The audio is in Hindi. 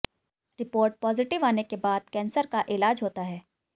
रिपोर्ट पॉजिटिव आने के बाद कैंसर का इलाज होता है